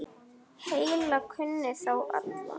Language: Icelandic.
Helga kunni þá alla.